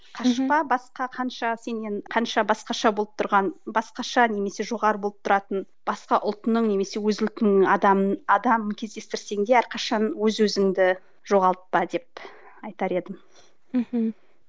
қашпа басқа қанша сенен қанша басқаша болып тұрған басқаша немесе жоғары болып тұратын басқа ұлтының немесе өз ұлтыңнын адамын адамын кездестірсең де әрқашан өз өзіңді жоғалтпа деп айтар едім мхм